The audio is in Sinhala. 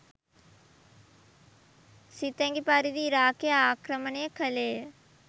සිතැඟි පරිදී ඉරාකය ආක්‍රමණය කළේය